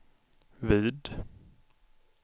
vid